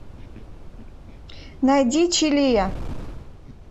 найди чилия